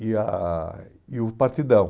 e a e o Partidão.